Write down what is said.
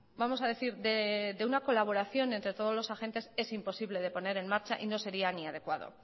vamos a decir de una colaboración entre todos los agentes es imposible de poner en marcha y no sería ni adecuado